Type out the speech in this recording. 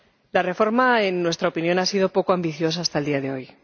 La reforma, en nuestra opinión, ha sido poco ambiciosa hasta el día de hoy.